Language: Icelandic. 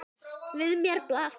Við mér blasir.